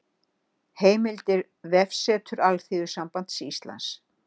Heimildir Vefsetur Alþýðusambands Íslands